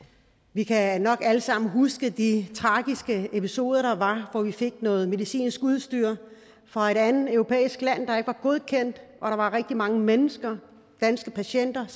vi kan nok alle sammen huske de tragiske episoder der var hvor vi fik noget medicinsk udstyr fra et andet europæisk land der ikke var godkendt og der var rigtig mange mennesker danske patienter